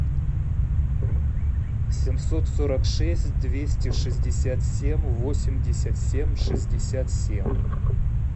семьсот сорок шесть двести шестьдесят семь восемьдесят семь шестьдесят семь